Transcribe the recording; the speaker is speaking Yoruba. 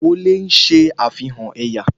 Ìgbà wọlé ń ṣe àfihàn ẹ̀yà